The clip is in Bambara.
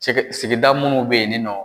Sigida munnu be yen ninɔ